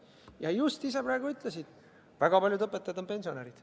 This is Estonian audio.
Sa just ise praegu ütlesid, et väga paljud õpetajad on pensionärid.